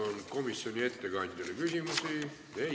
Kas komisjoni ettekandjale on küsimusi?